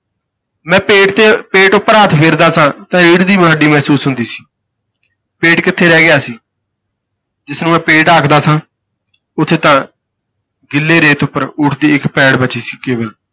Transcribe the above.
ਮੈਂ ਪੇਟ ਤੇ ਪੇਟ ਉੱਪਰ ਹੱਥ ਫੇਰਦਾ ਸਾਂ ਤਾਂ ਰੀੜ ਦੀ ਹੱਡੀ ਮਹਿਸੂਸ ਹੁੰਦੀ ਸੀ। ਪੇਟ ਕਿੱਥੇ ਰਹਿ ਗਿਆ ਸੀ ਜਿਸਨੂੰ ਮੈਂ ਪੇਟ ਆਖਦਾ ਸਾਂ ਉੱਥੇ ਤਾਂ ਗਿੱਲੇ ਰੇਤ ਉੱਪਰ ਊਠ ਦੀ ਇੱਕ ਪੈੜ ਬਚੀ ਸੀ ਕੇਵਲ,